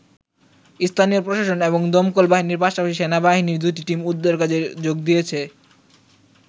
স্থানীয় প্রশাসন এবং দমকল বাহিনীর পাশাপাশি সেনাবাহিনীর দুটি টিম উদ্ধারকাজে যোগ দিয়েছে।